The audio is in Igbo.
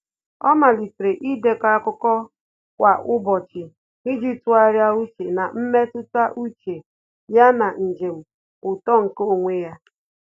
Ọ́ màlị́tèrè ídèkọ́ ákụ́kọ́ kwa ụ́bọ̀chị̀ iji tụ́gharị́a úchè na mmetụta úchè ya na njem uto nke onwe ya.